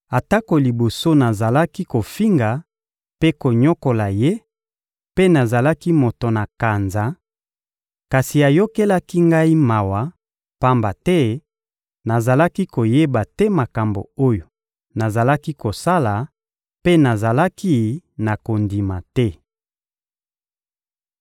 atako liboso nazalaki kofinga mpe konyokola Ye mpe nazalaki moto na kanza; kasi ayokelaki ngai mawa, pamba te nazalaki koyeba te makambo oyo nazalaki kosala mpe nazalaki na kondima te.